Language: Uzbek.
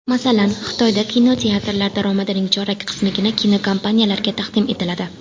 Masalan, Xitoyda kinoteatrlar daromadining chorak qismigina kinokompaniyalarga taqdim etiladi.